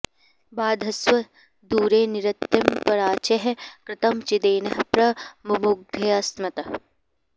बाध॑स्व दू॒रे निरृ॑तिं परा॒चैः कृ॒तं चि॒देनः॒ प्र मु॑मुग्ध्य॒स्मत्